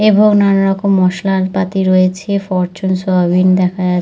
এবং নানা রকম মশলাপাতি রয়েছে ফরচুন সয়াবিন দেখা যাচ্ছে।